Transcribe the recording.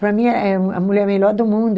Para mim, é é a mulher melhor do mundo.